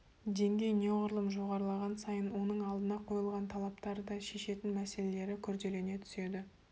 деңгей неғұрлым жоғарылаған сайын оның алдына қойылатын талаптар да шешетін мәселелері күрделене түседі